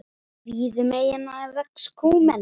Víða um eyjuna vex kúmen.